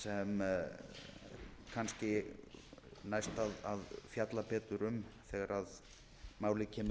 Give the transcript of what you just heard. kannski næst þá að fjalla betur um þegar málið kemur